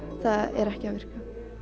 það er ekki að virka